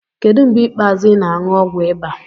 Kedu mgbe ikpeazụ ị na-aṅụ ọgwụ ịba?